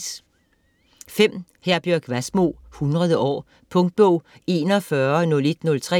Wassmo, Herbjørg: Hundrede år Punktbog 410103